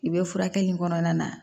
I bɛ furakɛli kɔnɔna na